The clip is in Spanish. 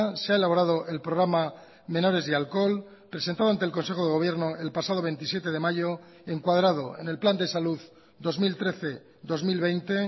se ha elaborado el programa menores y alcohol presentado ante el consejo de gobierno el pasado veintisiete de mayo en cuadrado en el plan de salud dos mil trece dos mil veinte